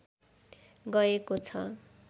गएको छ